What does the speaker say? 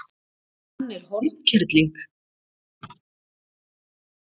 Hann er hornkerling.